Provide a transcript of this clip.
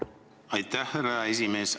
Aitäh, härra esimees!